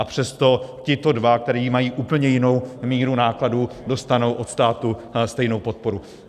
A přesto tito dva, kteří mají úplně jinou míru nákladů, dostanou od státu stejnou podporu.